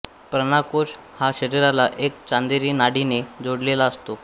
प्राणकोश हा शरीराला एका चंदेरी नाडीने जोडलेला असतो